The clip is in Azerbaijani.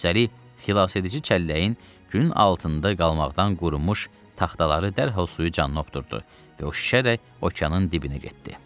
Üstəlik, xilasedici çəlləyin günün altında qalmaqdan qurumuş taxtaları dərhal suyu canına hopdurdu və o şişərək okeanın dibinə getdi.